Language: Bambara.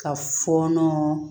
Ka fɔɔnɔ